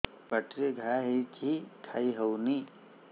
ପାଟିରେ ଘା ହେଇଛି ଖାଇ ହଉନି